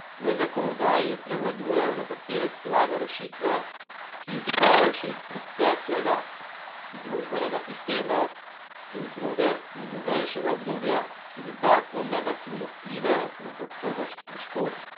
V zakonodaji prevladujejo nekatere slabe rešitve, ki izhajajo še iz preteklega družbenega sistema, in druge iz novejšega obdobja, ki dodatno negativno vplivajo na kakovost prostora.